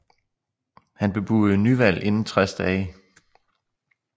Han bebudede nyvalg inden 60 dage